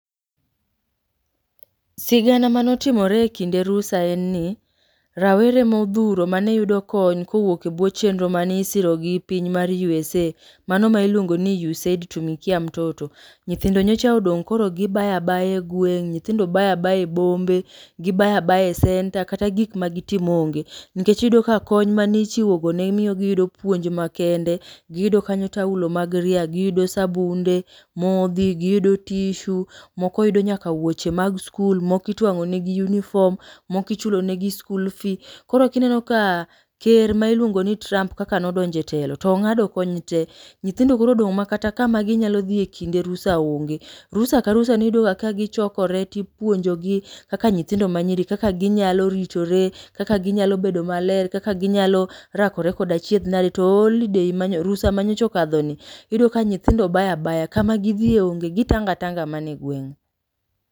Sigana manotimore e kinde rusa en ni rawere modhuro mane yudo kony kowuok e bwo chenro manisiro gi piny mar USA. Mano ma iluongo ni USAID Tumikia Mtoto. Nyithindo nyocha odong' koro gibaya baya e gweng', nyithindo baya baya e bombe. Gibaya baya e senta, kata gik ma gitim onge. Nikech iyudo ka konya manichiwogo ne miyo giyudo puonj makende. Giyudo kanyo taulo mag ria, giyudo sabunde, modhi, giyudo tishu, moko yudo nyaka wuoche mag skul, moko itwang'onegi unifom, moko ichulo negi skul fi. Koro kineno ka ker ma iluongo ni Trump kaka nodonje telo, tong'ado kony te. Nyithindo korodong' ma kata kama ginyalo dhi e kinde rusa onge. Rusa ka rusa niyudo ga ka gichokore tipuonjogi kaka nyithindo ma nyiri, kaka ginyalo ritore, kaka ginyalo bedo maler. Kaka ginyalo rakore koda achiedh nade. To olidei rusa manyocha okadhoni, iyudo ka nyithindo baya baya, kama gidhie onge, gitanga tanga mane gweng'u.